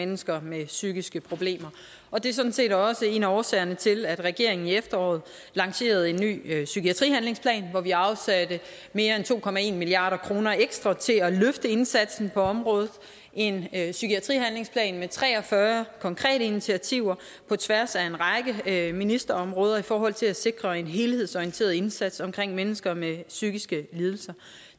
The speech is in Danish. mennesker med psykiske problemer og det er sådan set også en af årsagerne til at regeringen i efteråret lancerede en ny psykiatrihandlingsplan hvor vi afsatte mere end to milliard kroner ekstra til at løfte indsatsen på området en en psykiatrihandlingsplan med tre og fyrre konkrete initiativer på tværs af en række ministerområder i forhold til at sikre en helhedsorienteret indsats omkring mennesker med psykiske lidelser